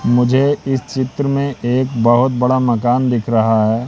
मुझे इस चित्र में एक बहोत बड़ा मकान दिख रहा है।